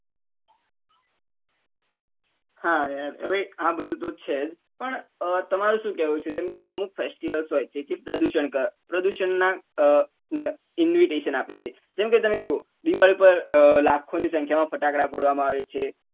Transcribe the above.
હા યાર હવે આ બધું તો છે જ પણ તમારું શું કેવું છે જેમ કે અમુક festivals હોય જેથી પ્રદુષણ થ પ્રદુષણ ને invitation આપે છે જેમ કે તમે જોવો દિવાળી પર લાખો ની સંખ્યા માં ફટાકડા ફોડવા માં આવે છે